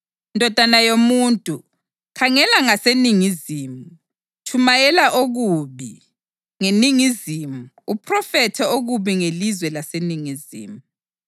“Ndodana yomuntu, khangela ngaseningizimu; tshumayela okubi ngeningizimu uphrofithe okubi ngelizwe laseningizimu.